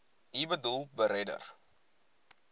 u boedel beredder